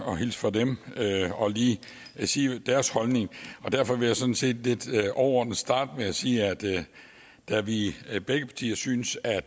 at hilse fra dem og lige sige hvad deres holdning er derfor vil jeg sådan set lidt overordnet starte med at sige at da vi i begge partier synes at